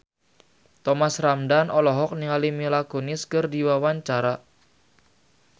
Thomas Ramdhan olohok ningali Mila Kunis keur diwawancara